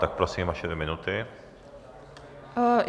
Tak prosím, vaše dvě minuty.